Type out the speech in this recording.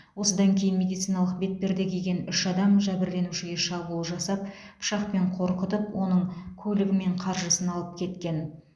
осыдан кейін медициналық бетперде киген үш адам жәбірленушіге шабуыл жасап пышақпен қорқытып оның көлігі мен қаржысын алып кеткен